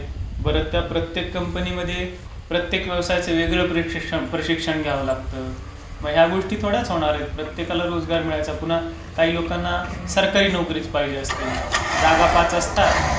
बरं, त्या प्रत्येक कंपनीमध्ये प्रत्येक व्यावसायाचं वेगळं प्रशिक्षण घ्यावं लागतं. मग ह्या गोष्टी थोड्याच होणार आहेत? प्रत्येकाला रोजगार मिळायचा पुन्हा काही लोकांना सरकारी नोकरीच पाहिजे असते. जागा पाच असतात.